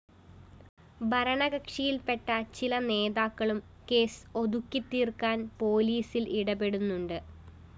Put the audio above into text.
ഭരണകക്ഷിയില്‍പ്പെട്ട ചില നേതാക്കളും കേസ് ഒതുക്കിത്തീര്‍ക്കാന്‍ പോലീസില്‍ ഇടപെടുന്നുണ്ട്